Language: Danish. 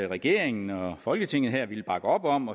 regeringen og folketinget her ville bakke op om